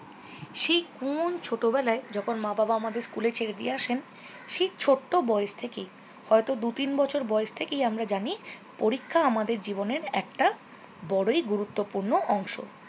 সেই কোন ছোটবেলায় যখন মা বাবা আমাদের স্কুলে ছেড়ে দিয়ে আসেন সেই ছোট্ট বয়স থেকেই হয়ত দু তিন বছর বয়স থেকেই আমরা জানি পরীক্ষা আমাদের জীবনের একটা বরই গুরুত্বপূর্ণ অংশ।